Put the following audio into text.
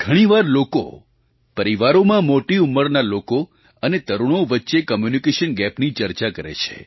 ઘણી વાર લોકો પરિવારોમાં મોટી ઉંમરના લોકો અને તરુણો વચ્ચે કમ્યૂનિકેશન ગેપની ચર્ચા કરે છે